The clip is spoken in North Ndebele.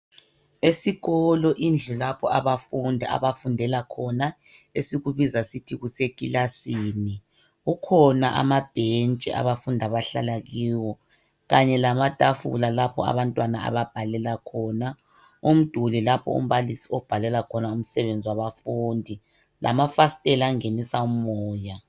Esikolo lapho abafundi abafundela khona esikubiza kuthiwe kuseclassini kukhona amabhentshi abafundi abahlala kiwo kanye lamatafula lapha abantwana ababhalela khona umduli lapho umbalisi abhalela khona umsebenzi wabafundi lamafastela angenisa umoya